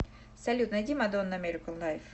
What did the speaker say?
салют найди мадонна американ лайф